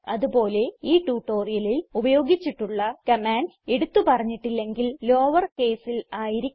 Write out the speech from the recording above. അത് പോലെ ഈ ട്യൂട്ടോറിയലിൽ ഉപയോഗിച്ചിട്ടുള്ള കമാൻഡ്സ് എടുത്ത് പറഞ്ഞിട്ടില്ലെങ്കിൽ ലോവേർ കേസിൽ ആയിരിക്കും